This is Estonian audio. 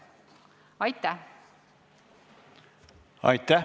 Aitäh!